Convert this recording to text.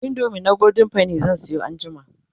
indomie na golden penny zan Sayo anjima